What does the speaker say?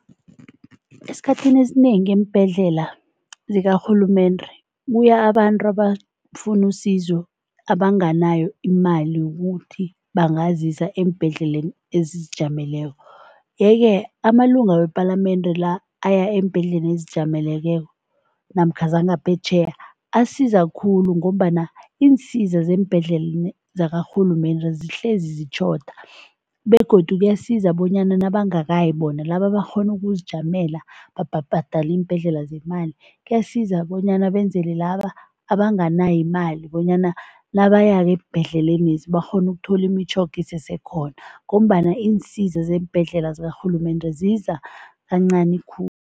Esikhathini esinengi eembhedlela zikarhulumende kuya abantu abafuna usizo, abanganayo imali yokuthi bangazisa eembhedlela ezizijameleko yeke amalunga wepalamende la aya eembhedlela ezizijameleko namkha zangaphetjheya, asiza khulu ngombana iinsiza zeembhedlela zakarhulumende zihlezi zitjhoda begodu kuyasiza bonyana nabangakayi bona, laba abakghona ukuzijamela babhadale iimbhedlela zemali. Kuyasiza bonyana benzele laba abanganayo imali bonyana nabayako eembhedlelenezi bakghone ukuthola imitjhoga isesekhona ngombana iinsiza zeembhedlela zikarhulumende ziza kancani khulu.